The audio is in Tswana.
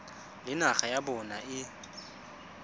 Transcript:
le naga ya bona e